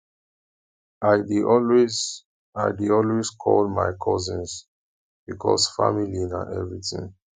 i dey always i dey always call my cousins because family na everytin